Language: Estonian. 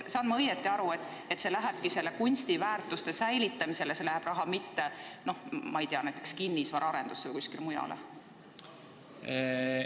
Saan ma õigesti aru, et see raha lähebki kunstiväärtuste säilitamisse, mitte, ma ei tea, näiteks kinnisvaraarendusse või kuskile mujale?